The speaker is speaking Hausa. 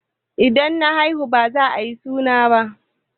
In na haihu baza ayi suna ba